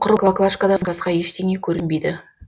құр баклажкадан басқа ештеңе көрінбейді